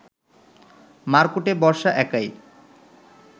মারকুটে বর্ষা একাই